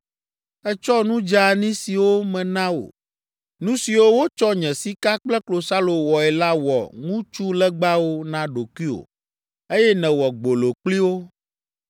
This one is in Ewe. Ètsɔ nu dzeani siwo mena wò, nu siwo wotsɔ nye sika kple klosalo wɔe la wɔ ŋutsulegbawo na ɖokuiwò, eye nèwɔ gbolo kpli wo.